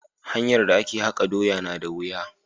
hanyar da a ke haka doya na da wuya.